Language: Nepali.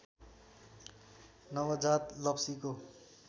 नवजात लप्सीको